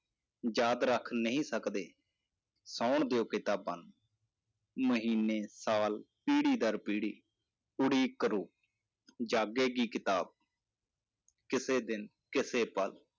ਯਾਦ ਰੱਖ ਨਹੀਂ ਸਕਦੇ ਸੌਣ ਦਿਓ ਕਿਤਾਬਾਂ ਨੂੰ, ਮਹੀਨੇ ਸਾਲ ਪੀੜ੍ਹੀ ਦਰ ਪੀੜ੍ਹੀ ਉਡੀਕ ਕਰੋ ਜਾਗੇਗੀ ਕਿਤਾਬ ਕਿਸੇ ਦਿਨ ਕਿਸੇ ਪਲ